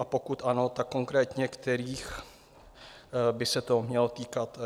A pokud ano, tak konkrétně kterých by se to mělo týkat?